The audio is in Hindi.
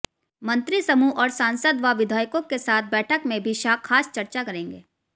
मंत्रीसमूह और सांसद व विधायकों के साथ बैठक में भी शाह खास चर्चा करेंगे